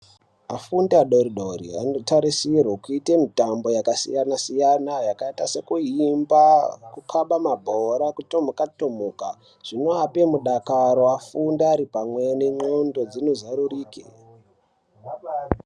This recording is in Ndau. Afundi adoridori anotarisirwe kuite mitambo yakasiyana-siyana yakaita sekuimba, kukhaba mabhora, kutomuka tomuka zvinoapa mudakaro afunde aripamwe nendxondo dzinozarurike.